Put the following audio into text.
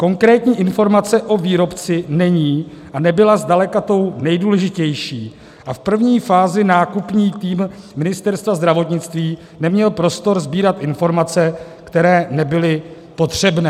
Konkrétní informace o výrobci není a nebyla zdaleka tou nejdůležitější a v první fázi nákupní tým Ministerstva zdravotnictví neměl prostor sbírat informace, které nebyly potřebné.